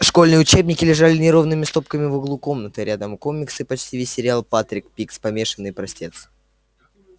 школьные учебники лежали неровными стопками в углу комнаты рядом комиксы почти весь сериал патрик пигс помешанный простец